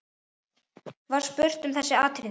Var spurt um þessi atriði.